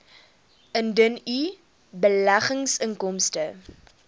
indien u beleggingsinkomste